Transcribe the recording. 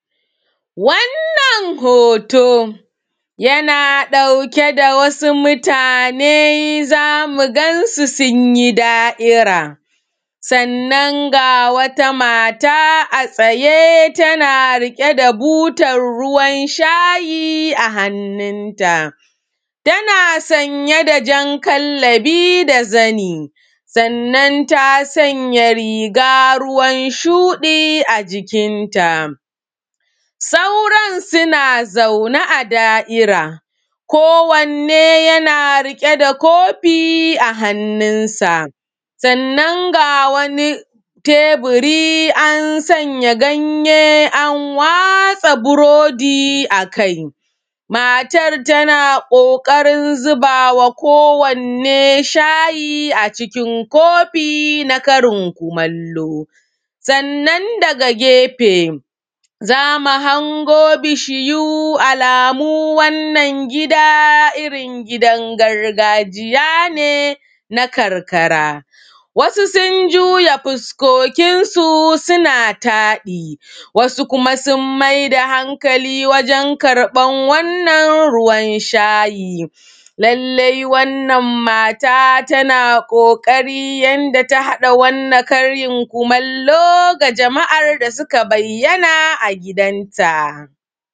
Wannan hoto yana ɗauke da wasu mutane za mu gan su sun yi da'ira Sannan ga wata mata a tsaye tana rike da wata butar shayi a hannunta, tana sanye da jan kallabi da zani, Sannan ta sanya riga ruwan shudi a jikinta sauran suna zaune a da'ira kowanne na rike da kofi a hannunsa Sannan ga wani tebura an sanya ganye an watsa burodi a kai matar tana ƙoƙarin zuba ma kowanne shayi a cikin kofi na karin kumallo. Sannan daga gefe Za mu hango bishiyu alamu wannan gida irin gidan gargajiya ne na karkara wasu sun juya fukokinsu suna taɗi wadu kuma su maida hankali wajen karɓan wannan ruwan shayi. mata tana ƙoƙarin yadda ta haɗa wannan karin kumallo ga jama'ar da suka bayyana a gidanta